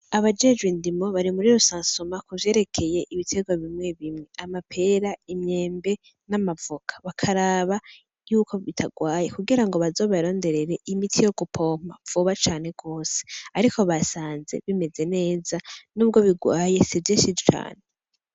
Abajejwe indimo bari muri rusansuma muvyerekeye ibiterwa bimwe bimwe ;amapera, imyembe n'amavoka bakaraba y'uko bitarwaye kugirango bazobarondere imiti yo gupompa vuba cane gose ariko basanze bimeze neza nubwo birwaye sivyishi cane